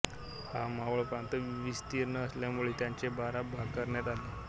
हा मावळ प्रांत विस्तीर्ण असल्यामुळे त्याचे बारा भाग करण्यात आले